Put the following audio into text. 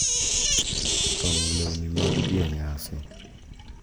Twang`o lewni mag dhi e nyasi.